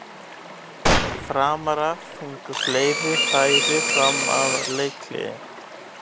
Framarar fengu fleiri færi fram að leikhléi.